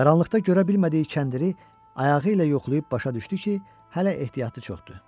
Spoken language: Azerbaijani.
Qaranlıqda görə bilmədiyi kəndiri ayağı ilə yoxlayıb başa düşdü ki, hələ ehtiyatı çoxdur.